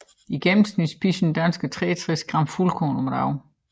I gennemsnit spiser en dansker 63g fuldkorn om dagen